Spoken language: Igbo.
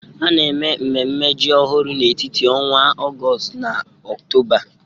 A na-eme mmemme ji ọhụrụ n'etiti ọnwa Ọgọst na Ọktoba.